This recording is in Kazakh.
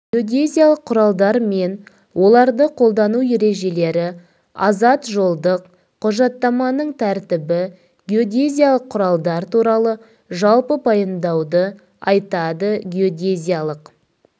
геодезиялық құралдар мен оларды қолдану ережелері азат жолдық құжаттаманың тәртібі геодезиялық құралдар туралы жалпы пайымдауды айтады геодезиялық